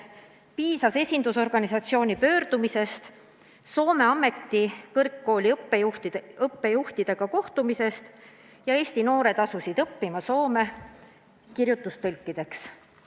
Siis piisas esindusorganisatsiooni pöördumisest, Soome ametikõrgkooli õppejuhtidega kohtumisest ja Eesti noored asusid Soomes õppima kirjeldustõlkideks.